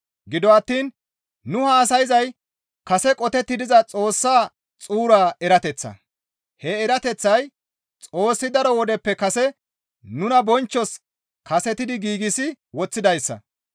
Gido attiin nu haasayzay kase qotetti diza Xoossa xuura erateththa; he erateththay Xoossi daro wodeppe kase nuna bonchchos kasetidi giigsi woththidayssa.